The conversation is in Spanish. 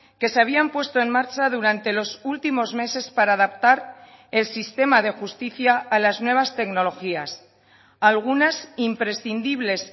que se habían puesto en marcha durante los últimos meses para adaptar el sistema de justicia a las nuevas tecnologías algunas imprescindibles